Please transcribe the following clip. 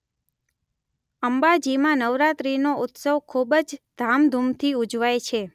અંબાજીમાં નવરાત્રિનો ઉત્સવ ખૂબ જ ધામધૂમથી ઉજવાય છે.